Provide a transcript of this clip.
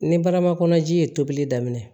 Ni barama kɔnɔji ye tobili daminɛ